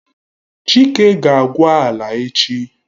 Chike ga akwa ala echi!